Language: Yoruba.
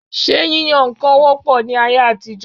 Ṣé yíyan nǹkan wọ́ pọ̀ ní ayé àtijọ?